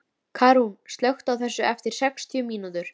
Karún, slökktu á þessu eftir sextíu mínútur.